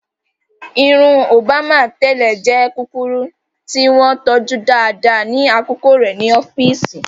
Irun Òbámà tẹ́lẹ̀ jẹ́ kúkúrú tí wọ́n tọ́jú dáadáa ní àkókò rẹ̀ ní ọ́fíìsì.